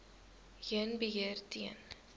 heen beheer ten